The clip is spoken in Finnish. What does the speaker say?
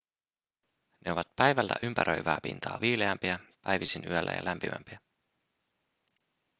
ne ovat päivällä ympäröivää pintaa viileämpiä päivisin yöllä ja lämpimämpiä